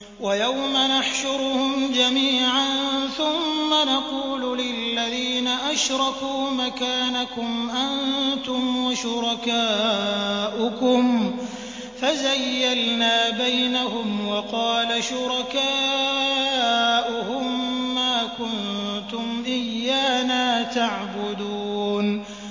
وَيَوْمَ نَحْشُرُهُمْ جَمِيعًا ثُمَّ نَقُولُ لِلَّذِينَ أَشْرَكُوا مَكَانَكُمْ أَنتُمْ وَشُرَكَاؤُكُمْ ۚ فَزَيَّلْنَا بَيْنَهُمْ ۖ وَقَالَ شُرَكَاؤُهُم مَّا كُنتُمْ إِيَّانَا تَعْبُدُونَ